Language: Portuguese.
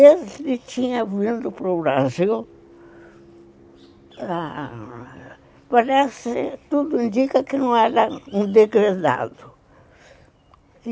ele tinha vindo para o Brasil, parece, tudo indica que não era um degredado.